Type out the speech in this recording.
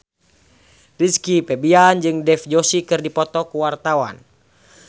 Rizky Febian jeung Dev Joshi keur dipoto ku wartawan